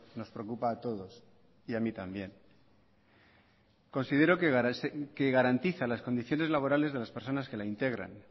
nos preocupa a todos y a mí también considero que garantiza las condiciones laborales de las personas que la integran